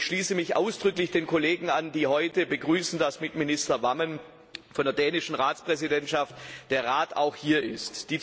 Ich schließe mich ausdrücklich den Kollegen an, die heute begrüßen, dass mit Minister Wammen von der dänischen Ratspräsidentschaft der Rat auch vertreten ist.